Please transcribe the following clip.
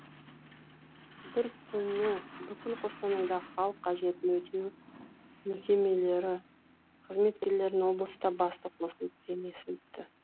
бір күні бүкіл қостанайдағы халық қажетін өтеу мекемелері қызметкерлерінің облыста басы қосылып кеңесі өтті